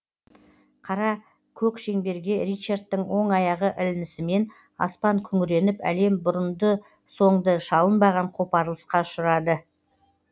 қара көк шеңберге ричардтың оң аяғы ілінісімен аспан күңіреніп әлем бұрынды соңды шалынбаған қопарылысқа ұшырады